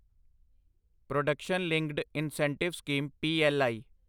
production linked incentive scheme PLI